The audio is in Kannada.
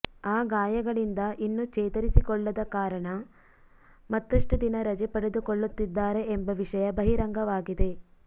ಆ ಗಾಯಗಳಿಂದ ಇನ್ನು ಚೇತರಿಸಿಕೊಳ್ಳದ ಕಾರಣ ಮತ್ತಷ್ಟು ದಿನ ರಜೆ ಪಡೆದುಕೊಳ್ಳುತ್ತಿದ್ದಾರೆ ಎಂಬ ವಿಷಯ ಬಹಿರಂಗವಾಗಿದೆ